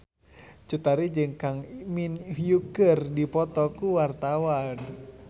Cut Tari jeung Kang Min Hyuk keur dipoto ku wartawan